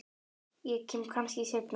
Ég kem kannski seinna